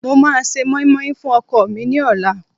mo ma ṣe moimoi fún ọkọ mi ni ọlá